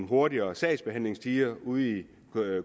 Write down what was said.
hurtigere sagsbehandlingstider ude i